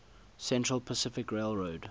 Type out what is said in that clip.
central pacific railroad